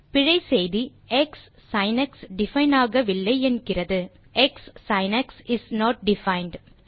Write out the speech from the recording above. பிழை செய்தி க்ஸின்க்ஸ் டிஃபைன் ஆகவில்லை என்கிறது க்ஸின்க்ஸ் இஸ் நோட் டிஃபைண்ட்